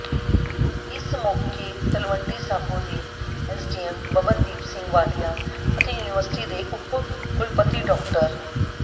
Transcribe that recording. ਇਸ ਮੌਕੇ ਤਲਵੰਡੀ ਸਾਬੋ ਦੇ ਐੱਸਡੀਐੱਮ ਬੱਬਨਦੀਪ ਸਿੰਘ ਵਾਲੀਆ ਅਤੇ ਯੂਨੀਵਰਸਿਟੀ ਦੇ ਉੱਪ ਕੁਲਪਤੀ ਡਾ